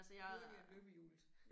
Hurtigere end løbehjulet